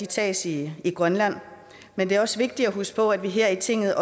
tages i grønland men det er også vigtigt at huske på at vi her i tinget